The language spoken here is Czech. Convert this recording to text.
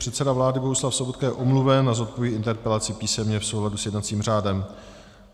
Předseda vlády Bohuslav Sobotka je omluven a zodpoví interpelaci písemně v souladu s jednacím řádem.